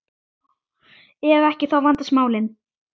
Ef ekki, þá vandast málin.